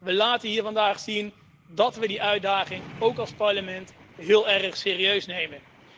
We laten hier vandaag zien dat we die uitdaging ook als Parlement heel erg serieus nemen.